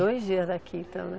Dois dias aqui, então, né